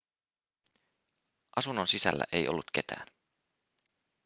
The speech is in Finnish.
asunnon sisällä ei ollut ketään